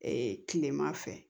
kilema fɛ